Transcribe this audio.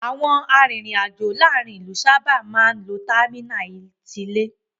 Àwọn arìnrìn-àj̀ò láàárin ìlú sábà máa ń lo támínà tilé.